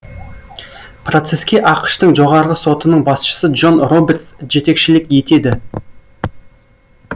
процеске ақш тың жоғарғы сотының басшысы джон робертс жетекшілік етеді